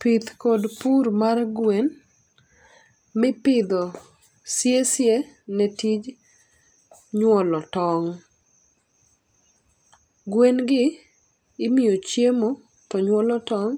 Pith kod pur mar gwen, mipidho siye siye ne tij nyuolo tong'. Gwen gi imiyo chiemo to nyuolo tong'